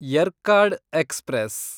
Yercaud express